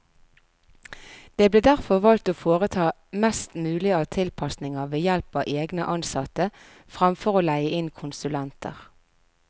Det ble derfor valgt å foreta mest mulig av tilpasninger ved help av egne ansatte, fremfor å leie inn konsulenter.